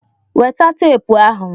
Weta teepu ahụ!